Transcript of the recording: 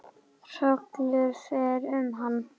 Hrollur fer um hana.